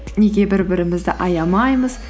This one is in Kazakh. неге бір бірімізді аямаймыз